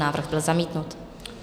Návrh byl zamítnut.